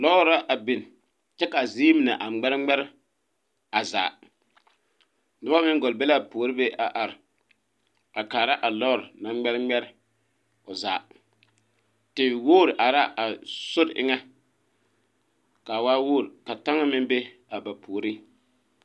Lɔɔre la a biŋ kyɛ ka a zie mine ŋmɛre ŋmɛre a zaa noba meŋ gɔl be la a puori be a are a kaara a lɔɔre naŋ ŋmɛre ŋmɛre o zaa tewogre are la a sori eŋɛ ka a waa wogre ka taŋa a ba puoriŋ.